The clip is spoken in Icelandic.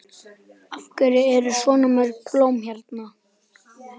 Af hverju eru svona mörg blóm hérna?